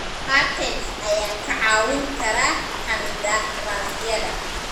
Patents ayaa kaa caawin kara qandaraasyada.